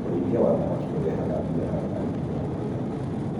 ũrĩithia wa thamaki ũrehaga mbia harĩ arĩithia matũrainĩ.